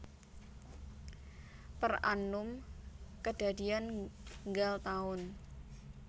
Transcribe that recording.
Per annum kedadian nggal taun